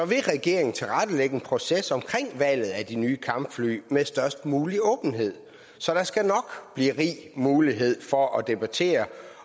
regeringen tilrettelægge en proces om valget af de nye kampfly med størst mulig åbenhed så der skal nok blive rig mulighed for at debattere